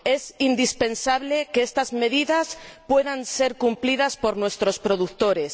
Es indispensable que estas medidas puedan ser cumplidas por nuestros productores